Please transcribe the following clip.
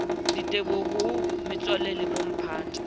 diteboho ho metswalle le bomphato